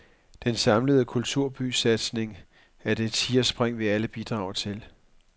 Den samlede kulturbysatsning er det tigerspring, vi alle bidrager til.